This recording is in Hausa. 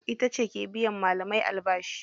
Itace ke biyan malamai albashi.